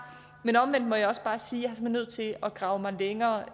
men omvendt må jeg også bare sige at er nødt til at grave mig længere